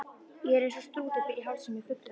Ég er eins og strútur, ber í hálsinn með fuglshaus.